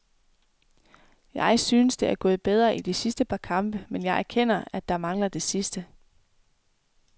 Jeg synes, det er gået bedre i de sidste par kampe, men jeg erkender, at der mangler det sidste.